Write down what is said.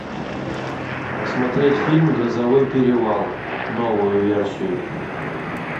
посмотреть фильм грозовой перевал новую версию